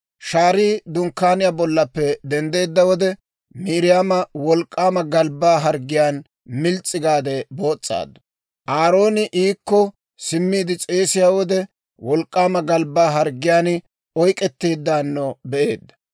Shaarii Dunkkaaniyaa bollaappe denddeedda wode, Miiriyaama wolk'k'aama galbbaa harggiyaan mils's'i gaade boos's'aaddu. Aarooni iikko simmiide s'eelliyaa wode, wolk'k'aama galbbaa harggiyaan oyk'k'etteeddaano be'eedda.